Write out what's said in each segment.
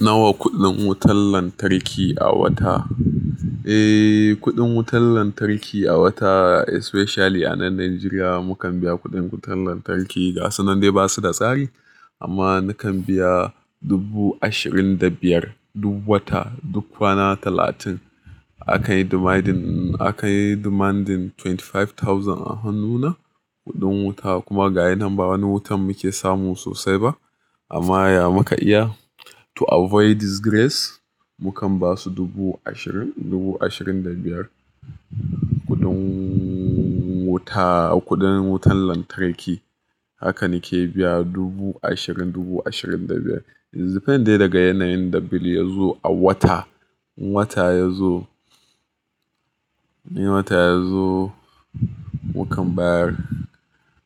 Nawa kuɗin wutar lantarki a wata? Eh, kuɗin wutar lantarki a wata especially a nan Najeriya mukan biya kuɗin wutar lantarki ga sunan dai ba su da tsari amma nakan biya dubu ashirin da biyar duk wata, duk kwana talatin. Akayi demanding, akayi demanding twenty five thousand a hannuna kuɗin wuta kuma ga yanan ba wani wutan muke samu sosai ba amma ya muka iya to avoid disgrace mukan basu dubu ashirin, dubu ashirin da biyar kuɗin wuta, kuɗin wutan lantarki. Haka nike biya dubu ashirin, dubu ashirin da biyar depending daga yanayin da bill ya zo a wata. Wata yazo, wata yazo mukan bayar,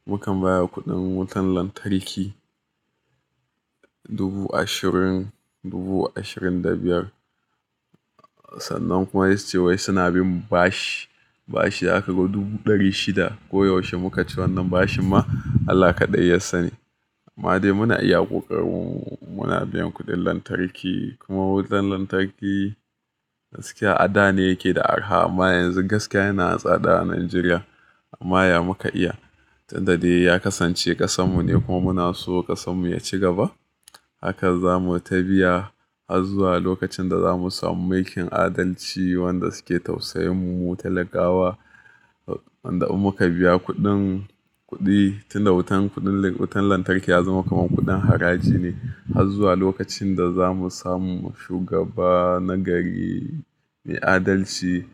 mukan bayar da kuɗin wutan lantarki dubu ashirin, dubu ashirin da biyar. Sannan kuma ya ce wai suna bin bashi, bashi aka ga dubu ɗari shida koyaushe muka ci wannan bashin ma Allah kaɗai yassane. Amma dai muna iya ƙoƙari muna biyan kuɗin lantarki kuma wutan lantarki gaskiya a da ne yake da arha amma yanzu gaskiya yana tsada a Najeriya amma ya muka iya tunda dai ya kasance ƙasan mune kuma muna so ƙasan mu ya ci gaba. Haka zamu ta biya har zuwa lokacin da zamu samu mulkin adalci wanda suke tausayin mu talakawa wanda idan muka biya kuɗin, kuɗi tunda wutan, kuɗin wutan lantarki ya zama kamar kuɗin haraji ne har zuwa lokacin da zamu samu shugaba na gari mai adalci,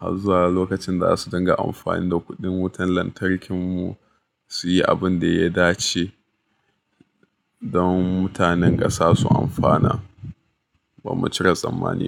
har zuwa lokacin da za su dinga amfani da kuɗin wutan lantarkin mu su yi abin da ya dace don mutanen ƙasa su amfana. Ba mu cire tsammani.